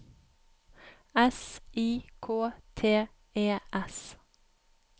S I K T E S